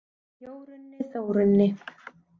Jórunni, Þórunni,